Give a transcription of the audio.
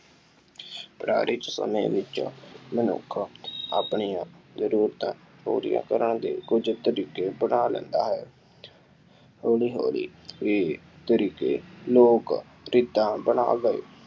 ਪੁਰਾਣੇ ਸਮੇਂ ਵਿੱਚ ਮਨੁੱਖ ਆਪਣੀਆਂ ਜ਼ਰੂਰਤਾਂ ਪੂਰੀਆਂ ਕਰਨ ਦੇ ਕੁੱਝ ਤਰੀਕੇ ਅਪਣਾ ਲੈਂਦਾ ਹੈ। ਹੌੌਲੀ ਹੌਲੀ ਇਹ ਤਰੀਕੇ ਲੋਕ ਰੀਤਾਂ ਬਣਾ ਗਏ।